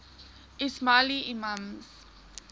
ismaili imams